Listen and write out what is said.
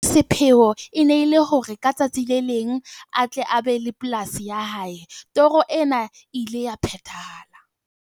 Sepheo e ne e le hore ka tsatsi le leng a tle a be le polasi ya hae. Toro ena e ile ya phethahala.